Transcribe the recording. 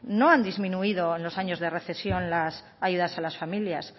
no han disminuido en los años de recesión las ayudas a las familias